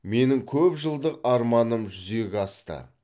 менің көпжылдық арманым жүзеге асты